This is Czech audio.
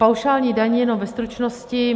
Paušální daň - jenom ve stručnosti.